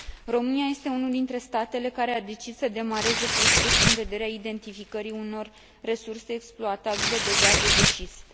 România este unul dintre statele care a decis să demareze prospecțiuni în vederea identificării unor resurse exploatabile de gaze de șist.